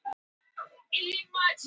TRYGGVI: Til dæmis endurholdgun?